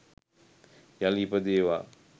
යළි ඉපදේවා